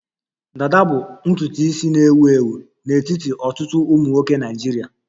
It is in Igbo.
Dada bụ ntutu isi na-ewu ewu n'etiti ọtụtụ ụmụ nwoke Naịjirịa